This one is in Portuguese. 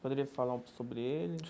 Poderia falar sobre eles?